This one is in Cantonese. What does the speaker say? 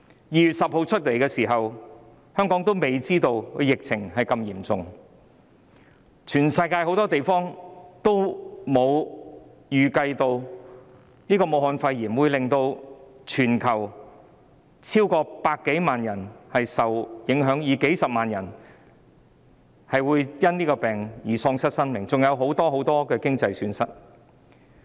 2月10日，當時香港的疫情仍未太嚴重，世界各地均沒有預計到武漢肺炎會令全球超過100萬人受影響，數十萬人會因疫症喪失生命，另外還造成很多經濟損失。